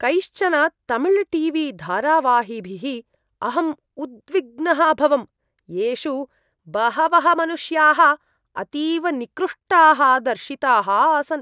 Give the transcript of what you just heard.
कैश्चन Tamil T V धारावाहिभिः अहम् उद्विग्नः अभवं, येषु बहवः मनुष्याः अतीव निकृष्टाः दर्शिताः आसन्।